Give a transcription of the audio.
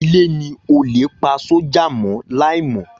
Ilé ni olè pa sójà mọ́ láì mọ.